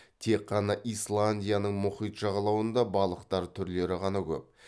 тек қана исландияның мұхит жағалауында балықтар түрлері ғана көп